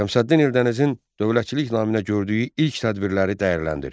Şəmsəddin Eldənizin dövlətçilik naminə gördüyü ilk tədbirləri dəyərləndir.